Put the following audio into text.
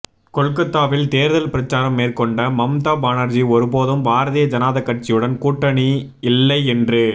கொல்கத்தாவில் தேர்தல் பிரச்சாரம் மேற்கொண்ட மம்தா பானர்ஜி ஒருபோதும் பாரதீய ஜனதா கட்சியுடன் கூட்டாணி இல்லை என்று